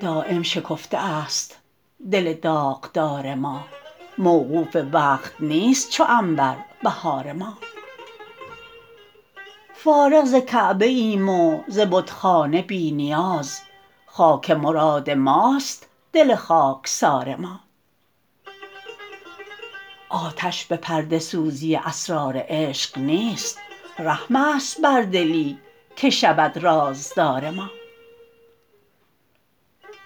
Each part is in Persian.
دایم شکفته است دل داغدار ما موقوف وقت نیست چو عنبر بهار ما فارغ ز کعبه ایم و ز بتخانه بی نیاز خاک مراد ماست دل خاکسار ما آتش به پرده سوزی اسرار عشق نیست رحم است بر دلی که شود رازدار ما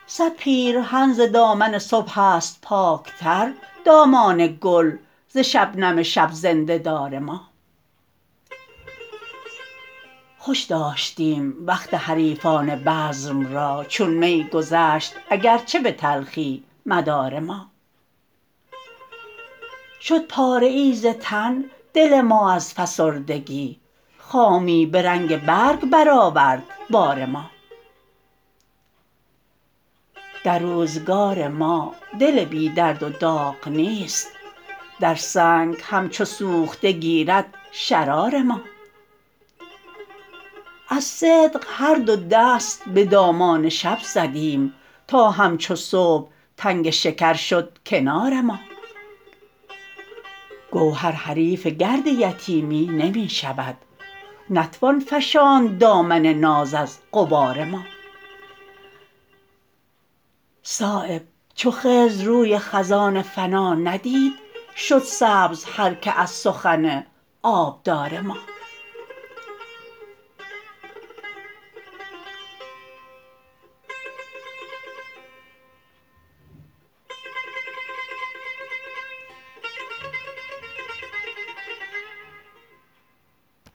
صد پیرهن ز دامن صبح است پاکتر دامان گل ز شبنم شب زنده دار ما خوش داشتیم وقت حریفان بزم را چون می گذشت اگر چه به تلخی مدار ما شد پاره ای ز تن دل ما از فسردگی خامی به رنگ برگ برآورد بار ما در روزگار ما دل بی درد و داغ نیست در سنگ همچو سوخته گیرد شرار ما از صدق هر دو دست به دامان شب زدیم تا همچو صبح تنگ شکر شد کنار ما گوهر حریف گرد یتیمی نمی شود نتوان فشاند دامن ناز از غبار ما صایب چو خضر روی خزان فنا ندید شد سبز هر که از سخن آبدار ما